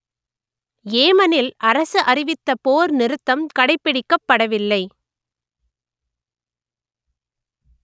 ஏமனில் அரசு அறிவித்த போர் நிறுத்தம் கடைப்பிடிக்கப்படவில்லை